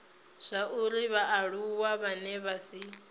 zwauri vhaaluwa vhane vha si